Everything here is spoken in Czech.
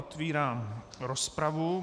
Otvírám rozpravu.